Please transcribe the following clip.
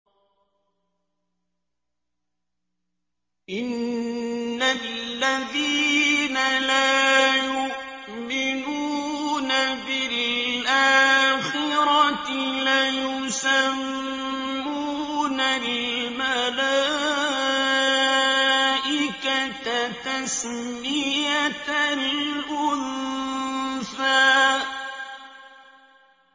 إِنَّ الَّذِينَ لَا يُؤْمِنُونَ بِالْآخِرَةِ لَيُسَمُّونَ الْمَلَائِكَةَ تَسْمِيَةَ الْأُنثَىٰ